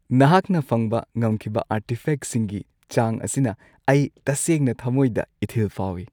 ꯅꯍꯥꯛꯅ ꯐꯪꯕ ꯉꯝꯈꯤꯕ ꯑꯥꯔꯇꯤꯐꯦꯛꯁꯤꯡꯒꯤ ꯆꯥꯡ ꯑꯁꯤꯅ ꯑꯩ ꯇꯁꯦꯡꯅ ꯊꯃꯣꯏꯗ ꯏꯊꯤꯜ ꯐꯥꯎꯏ꯫